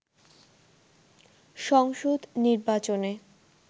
সংসদ নির্বাচনে